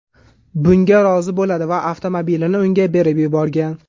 bunga rozi bo‘ladi va avtomobilini unga berib yuborgan.